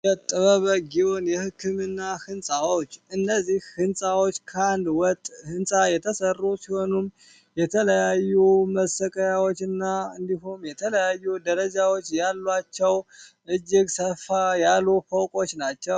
የጥበበጊውን የሕክምና ሕንፃዎች እነዚህ ሕንፃዎች ከአንድ ወጥ ሕንፃ የተሰሩ ሲሆኑም የተለያዩ መሰከያዎችና እንዲሁም የተለያዩ ደረጃዎች ያሏቸው እጅግ ሰፋ ያሉ ፈውቆች ናቸው፡፡